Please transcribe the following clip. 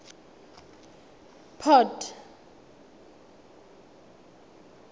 port